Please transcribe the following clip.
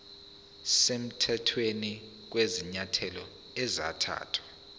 semthethweni kwezinyathelo ezathathwa